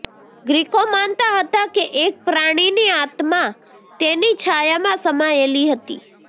ગ્રીકો માનતા હતા કે એક પ્રાણીની આત્મા તેની છાયામાં સમાયેલી હતી